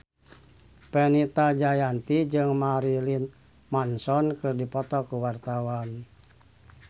Fenita Jayanti jeung Marilyn Manson keur dipoto ku wartawan